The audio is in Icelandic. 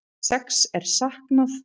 Sex er saknað